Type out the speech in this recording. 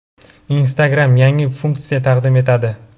Instagram yangi funksiya taqdim etadi.